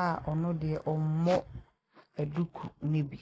a ɔno deɛ ɔmmɔ duku ne bi.